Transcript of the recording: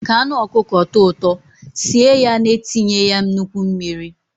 Ka anụ ọkụkọ tọọ ụtọ, sie ya na-etinye ya nnukwu mmiri.